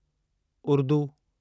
Urdu